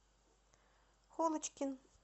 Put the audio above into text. холочкин